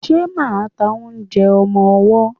Ṣe máà ń ta oúnjẹ ọmọwọ́?